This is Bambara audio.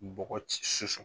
bɔgɔ ci